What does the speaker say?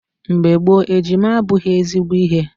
Mgbe gboo, ejima abụghị ezigbo ihe.